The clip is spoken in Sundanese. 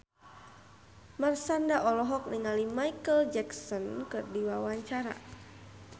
Marshanda olohok ningali Micheal Jackson keur diwawancara